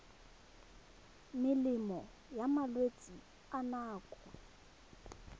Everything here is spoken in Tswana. melemo ya malwetse a nako